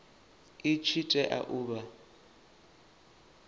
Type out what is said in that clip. i tshi tea u vha